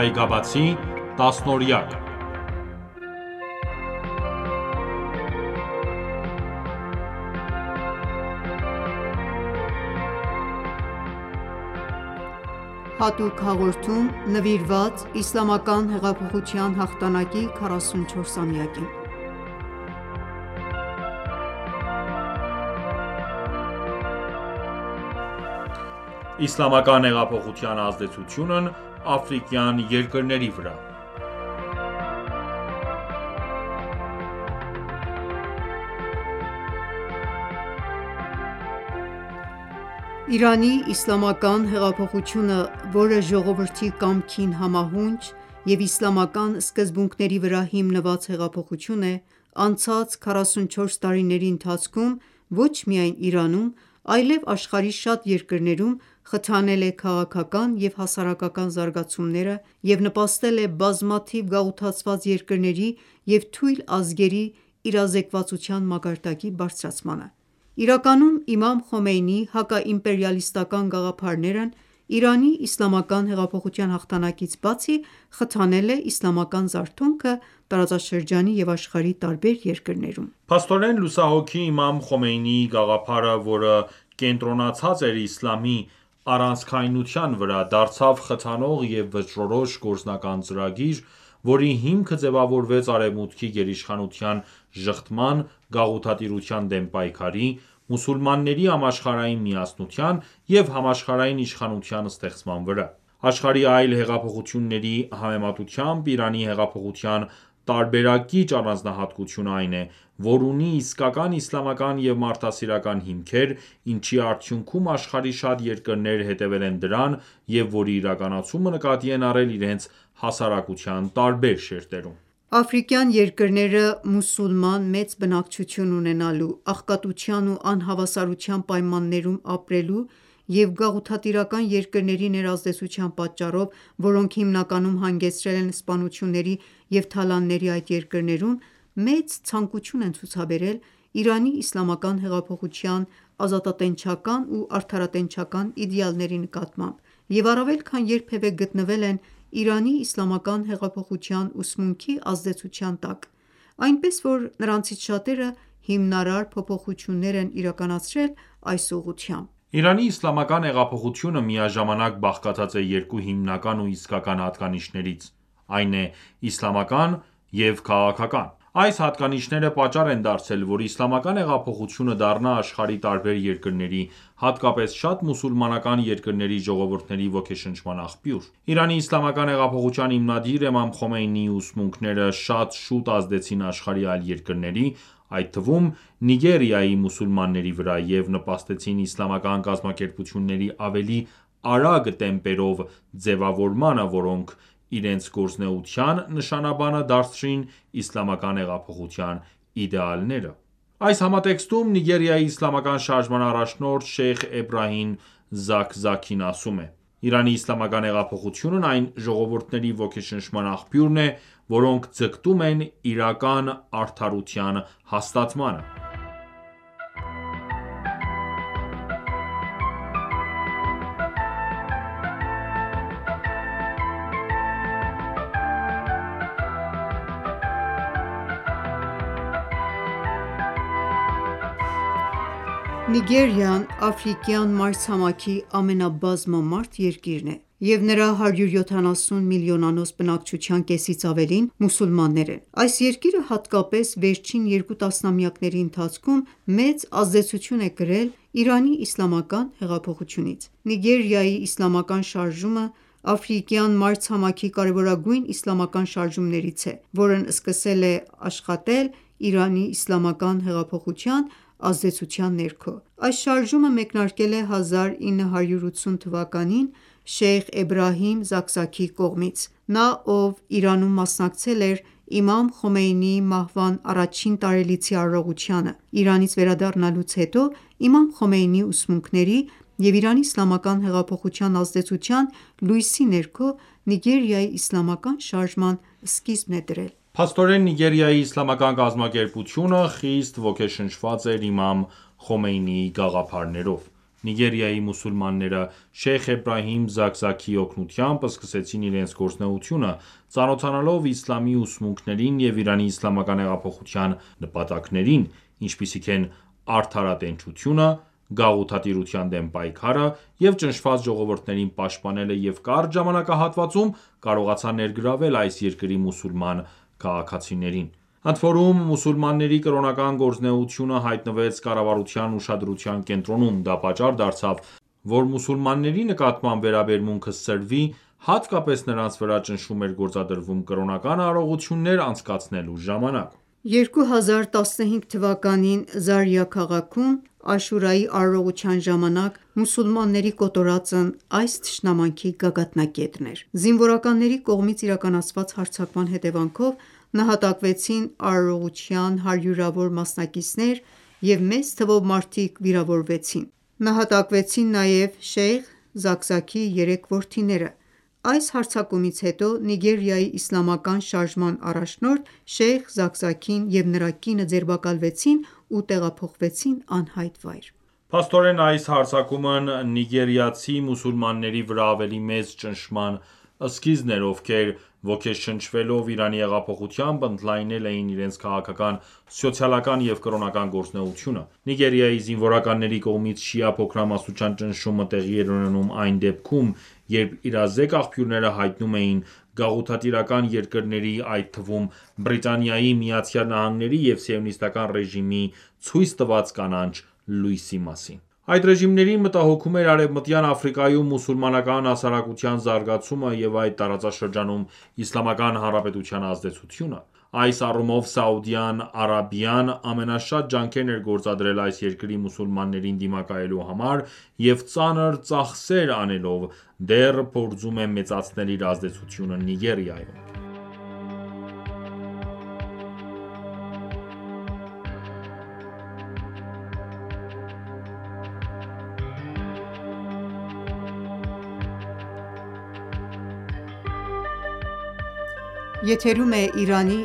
Այգաբացի տասնօրյակ(4.Հատուկ հաղորդում նվիրված Իսլամական հեղափոխության հաղթանակի 44-ամյակին) Իսլամական հեղափոխության ազդեցությունն աֆրիկյան երկրների վրա: Իրանի իսլամական հեղափոխությունը, որը ժողովրդի կամքին համահունչ և իսլամական սկզբունքների վրա հիմնված հեղափոխություն է, անցած 44 տարիների ընթացքում ոչ միայն Իրանում, այլև աշխարհի շատ երկրներում խթանել է քաղաքական և հասարակական զարգացումները և նպաստել է բազմաթիվ գաղութացված երկրների և թույլ ազգերի իրազեկվածության մակարդակի բարձրացմանը: Իրականում Իմամ Խոմեյնիի հակաիմպերիալիստական գաղափարներն Իրանի իսլամական հեղափոխության հաղթանակից բացի, խթանել է իսլամական զարթոնքը տարածաշրջանի և աշխարհի տարբեր երկրներում: Փաստորեն, լուսահոգի Իմամ Խոմեյնիի գաղափարը, որը կենտրոնացած էր իսլամի առանցքայնության վրա, դարձավ խթանող և վճռորոշ գործնական ծրագիր, որի հիմքը ձևավորվեց Արևմուտքի գերիշխանության ժխտման, գաղութատիրության դեմ պայքարի, մուսուլմանների համաշխարհային միասնության և համաշխարհային իշխանության ստեղծման վրա։ Աշխարհի այլ հեղափոխությունների համեմատությամբ Իրանի հեղափոխության տարբերակիչ առանձնահատկությունը այն է, որ ունի իսկական իսլամական և մարդասիրական հիմքեր, ինչի արդյունքում աշխարհի շատ երկրներ հետևել են դրան, և որի իրականացումը նկատի են առել իրենց հասարակության տարբեր շերտերում: Աֆրիկյան երկրները մուսուլման մեծ բնակչություն ունենալու, աղքատության ու անհավասարության պայմաններում ապրելու և գաղութատիրական երկրների ներազդեցության պատճառով, որոնք հիմնականում հանգեցրել են սպանությունների և թալանների այդ երկրներում, մեծ ցանկություն են ցուցաբերել Իրանի Իսլամական հեղափոխության ազատատենչական ու արդարատենչական իդեալների նկատմամբ և առավել քան երբևէ գտնվել են Իրանի իսլամական հեղափոխության ուսմունքի ազդեցության տակ, այնպես որ նրանցից շատերը հիմնարար փոփոխություններ են իրականացրել այս ուղղությամբ։ Իրանի Իսլամական հեղափոխությունը միաժամանակ բաղկացած է երկու հիմնական ու իսկական հատկանիշներից, այն է՝ «իսլամական և քաղաքական»։ Այս հատկանիշները պատճառ են դարձել, որ Իսլամական հեղափոխությունը դառնա աշխարհի տարբեր երկրների, հատկապես շատ մուսուլմանական երկրների ժողովուրդների ոգեշնչման աղբյուր: Իրանի Իսլամական հեղափոխության հիմնադիր Իմամ Խոմեյնիի ուսմունքները շատ շուտ ազդեցին աշխարհի այլ երկրների, այդ թվում՝ Նիգերիայի մուսուլմանների վրա, և նպաստեցին իսլամական կազմակերպությունների ավելի արագ տեմպերով ձևավորմանը, որոնք իրենց գործունեության նշանաբանը դարձրին Իսլամական հեղափոխության իդեալները։ Այս համատեքստում Նիգերիայի իսլամական շարժման առաջնորդ Շեյխ Էբրահիմ Զաքզաքին ասում է.-«Իրանի իսլամական հեղափոխությունն այն ժողովուրդների ոգեշնչման աղբյուրն է,որոնք ձգտում են իրական արդարության հաստատմանը»։ Նիգերիան Աֆրիկյան մայրցամաքի ամենաբազմամարդ երկիրն է, և նրա 170 միլիոնանոց բնակչության կեսից ավելին մուսուլմաններ են: Այս երկիրը հատկապես վերջին երկու տասնամյակների ընթացքում մեծ ազդեցություն է կրել Իրանի իսլամական հեղափոխությունից։ Նիգերիայի իսլամական շարժումը աֆրիկյան մայրցամաքի կարևորագույն իսլամական շարժումներից է, որը սկսել է աշխատել Իրանի իսլամական հեղափոխության ազդեցության ներքո։ Այս շարժումը մեկնարկել է 1980 թվականին Շեյխ Էբրահիմ Զաքզաքիի կողմից։ Նա, ով Իրանում մասնակցել էր Իմամ Խոմեյնիի մահվան առաջին տարելիցի արարողությանը, Իրանից վերադառնալուց հետո, Իմամ Խոմեյնիի ուսմունքների և Իրանի իսլամական հեղափոխության ազդեցության լույսի ներքո, Նիգերիայի իսլամական շարժման սկիզբ է դրել։ Փաստորեն, Նիգերիայի իսլամական կազմակերպությունը խիստ ոգեշնչված էր Իմամ Խոմեյնիի գաղափարներով։ Նիգերիայի մուսուլմանները Շեյխ Էբրահիմ Զաքզաքիի օգնությամբ սկսեցին իրենց գործունեությունը՝ ծանոթանալով իսլամի ուսմունքներին և Իրանի իսլամական հեղափոխության նպատակներին, ինչպիսիք են արդարատենչությունը, գաղութատիրության դեմ պայքարը և ճնշված ժողովուրդներին պաշտպանելը, և կարճ ժամանակահատվածում կարողացան ներգրավել այս երկրի մուսուլման քաղաքացիներին։ Ընդորում մուսուլմանների կրոնական գործունեությունը հայտնվեց կառավարության ուշադրության կենտրոնում, դա պատճառ դարձավ, որ մուսուլմանների նկատմամբ վերաբերմունքը սրվի, հատկապես նրանց վրա ճնշում էր գործադրվում կրոնական արարողություններ անցկացնելու ժամանակ: 2015 թվականին Զարիա քաղաքում Աշուրայի արարողության ժամանակ մուսուլմանների կոտորածն այս թշնամանքի գագաթնակետն էր։ Զինվորականների կողմից իրականացված հարձակման հետևանքով, նահատակվեցին արարողության հարյուրավոր մասնակիցներ և մեծ թվով մարդիկ վիրավորվեցին, նահակատակվեցին նաև Շեյխ Զաքզաքիի երեք որդիները: Այս հարձակումից հետո Նիգերիայի Իսլամական շարժման առաջնորդ Շեյխ Զաքզաքին և նրա կինը ձերբակալվեցին ու տեղափոխվեցին անհայտ վայր։ Փաստորեն, այս հարձակումն նիգերիացի մուսուլմանների վրա ավելի մեծ ճնշման սկիզբն էր, ովքեր ոգեշնչվելով Իրանի հեղափոխությամբ, ընդլայնել էին իրենց քաղաքական, սոցիալական և կրոնական գործունեությունը: Նիգերիայի զինվորականների կողմից շիա փոքրամասնության ճնշումը տեղի էր ունենում այն դեպքում, երբ իրազեկ աղբյուրները հայտնում էին գաղութատիրական երկրների, այդ թվում Բրիտանիայի, ԱՄՆ-ի և Սիոնիստական ռեժիմի ցույց տված կանաչ լույսի մասին։ Այդ ռեժիմներին մտահոգում էր Արևմտյան Աֆրիկայում մուսուլմանական հասարակության զարգացումը և այդ տարածաշրջանում Իսլամական Հանրապետության ազդեցությունը։ Այս առումով Սաուդյան Արաբիան ամենաշատ ջանքերն է գործադրել այս երկրի մուսուլմաններին դիմակայելու համար եւ ծանր ծախսեր անելով՝ դեռ փորձում է մեծացնել իր ազդեցությունն Նիգերիայում։ Նիգերիայի